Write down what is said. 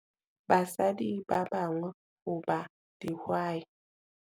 basadi ba bang ho ba dihwai.